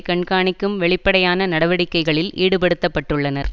கண்காணிக்கும் வெளிப்படையான நடவடிக்கைகளில் ஈடுபடுத்தப்பட்டுள்ளனர்